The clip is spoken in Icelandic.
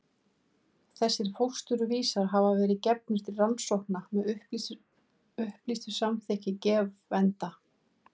Þessir fósturvísar hafa verið gefnir til rannsókna með upplýstu samþykki gefenda.